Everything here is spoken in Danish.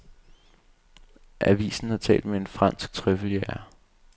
Avisen har talt med en fransk trøffeljæger.